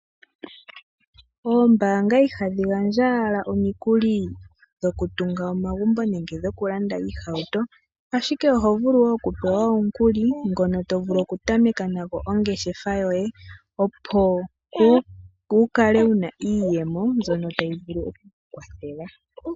Oombaanga ihadhi gandja owala omikuli dhokutunga omagumbo nenge dhokulanda iihauto, ashike oho vulu okupewa omukuli ngono to vulu okutameka nago ongeshefa yoye opo wu kale wu na iiyemo mbyono tayi vulu oku ku kwathela.